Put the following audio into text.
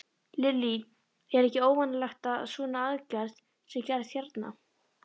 Lillý: Er ekki óvanalegt að svona aðgerð sé gerð hérna?